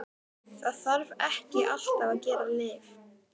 Það þarf ekki alltaf að gefa lyf.